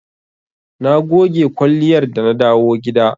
Na goge kwalliyar da na dawo gida.